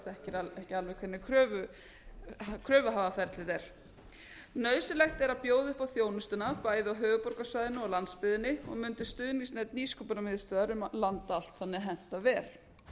þekkir ekki alveg hvernig kröfuhafaferlið er nauðsynlegt er að bjóða upp á þjónustuna bæði á höfuðborgarsvæðinu og landsbyggðinni og mundi stuðningsnet nýsköpunarmiðstöðvar um land allt þannig henta vel